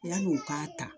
Yanni u k'a ta